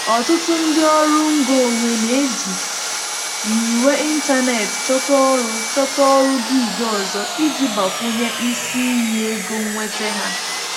Ọtụtụ ndị ọrụ ngo onwe na-eji nyiwe ịntanetị chọta ọrụ chọta ọrụ gig ọzọ iji gbakwunye isi iyi ego nnweta ha.